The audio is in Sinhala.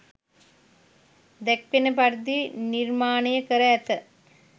දැක්වෙන පරිදි නිර්මාණය කර ඇත.